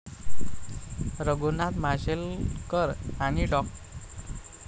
रघुनाथ माशेलकर आणि डॉ.